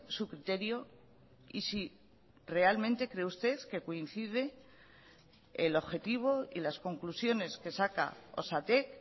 su criterio y si realmente cree usted que coincide el objetivo y las conclusiones que saca osatek